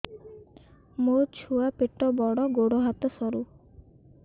ମୋ ଛୁଆ ପେଟ ବଡ଼ ଗୋଡ଼ ହାତ ସରୁ